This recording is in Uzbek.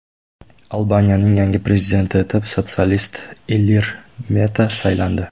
Albaniyaning yangi prezidenti etib sotsialist Ilir Meta saylandi.